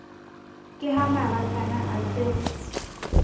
ke ha marakana a se